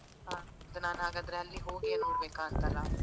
ಹ ಅದು ನಾನು ಹಾಗಾದ್ರೆ ಅಲ್ಲಿ ಹೋಗಿಯೇ ನೋಡ್ಬೇಕಾಂತಲ್ಲ?